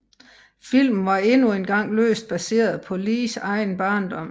Filmen var endnu engang løst baseret på Lees egen barndom